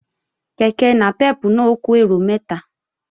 Kèké nàpẹ́pù náà ó kó èrò mẹ́ta